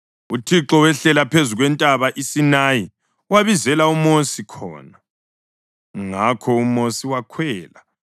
UThixo wehlela phezu kwentaba iSinayi, wabizela uMosi khona. Ngakho uMosi wakhwela,